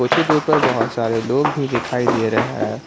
कुछ ही दूर पर बहोत सारे लोग भी दिखाई दे रहे हैं।